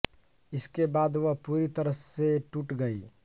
इसके बाद वह पूरी तरह से टूट गईं